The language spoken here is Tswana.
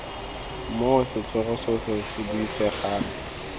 moo setlhogo sotlhe se buisegang